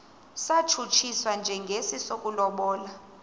satshutshiswa njengesi sokulobola